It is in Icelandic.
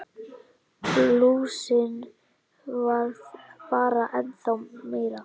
Blúsinn varð bara ennþá meiri.